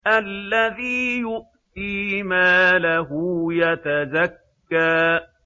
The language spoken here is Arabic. الَّذِي يُؤْتِي مَالَهُ يَتَزَكَّىٰ